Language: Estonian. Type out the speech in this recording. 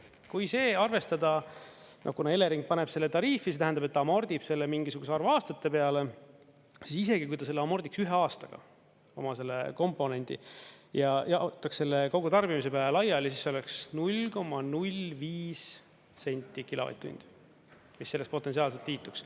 Kui see arvestada, kuna Elering paneb selle tariifi, see tähendab, et ta amordib selle mingisuguse arvu aastate peale, siis isegi, kui ta selle amordiks ühe aastaga, oma selle komponendi ja jaotaks selle kogutarbimise peale laiali, siis oleks 0,05 senti kilovatt-tundi, mis selles potentsiaalselt liituks.